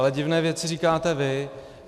Ale divné věci říkáte vy.